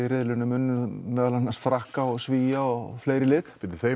riðlinum unnum meðal annars Frakka og Svía og fleiri lið